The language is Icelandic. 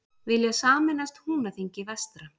Vilja sameinast Húnaþingi vestra